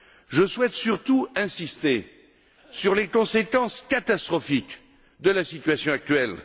Je souhaite surtout insister sur les conséquences catastrophiques de la situation actuelle.